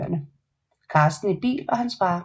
Carsten i bil og hans far